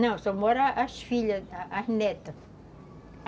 Não, só moram as filhas, as netas.